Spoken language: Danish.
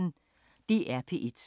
DR P1